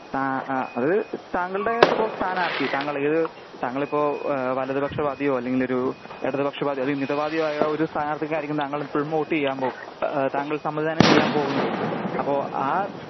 അ അത് താങ്കളുടെ ഇപ്പോ സ്ഥനാർത്തി താങ്കളേത് ഏത് താങ്കളിപ്പോ വലതു പക്ഷ വാദിയോ അല്ലെങ്കില് ഒരു ഇടതു പക്ഷ വാദിയോ അതോ മിത വാതിയോ ആയ സ്ഥാനാർത്തിക്കായിരിക്കും വോട്ട് ചെയ്യാൻ പോകുന്നത് താങ്കൾ സമ്മദിതാനം ചെയ്യാൻ പോകുന്നത് അപ്പോ ആ